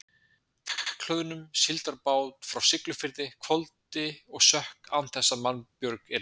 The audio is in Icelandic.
Drekkhlöðnum síldarbát frá Siglufirði hvolfdi og sökk án þess að mannbjörg yrði.